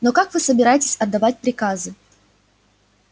но как вы собираетесь отдавать приказы